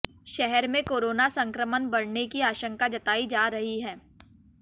शहर में कोरोना संक्रमण बढ़ने की आशंका जतायी जा रही है